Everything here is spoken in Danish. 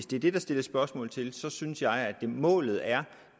det der stilles spørgsmål til så synes jeg at målet er